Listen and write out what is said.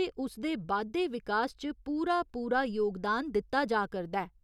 ते उसदे बाद्धे विकास च पूरा पूरा योगदान दित्ता जा करदा ऐ।